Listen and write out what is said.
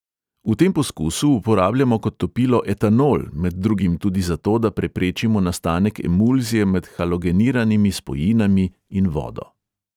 V tem poskusu uporabljamo kot topilo etanol, med drugim tudi zato, da preprečimo nastanek emulzije med halogeniranimi spojinami in vodo.